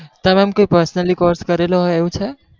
તમે એમ કોઈ personally course કરેલો હોય એવું છે?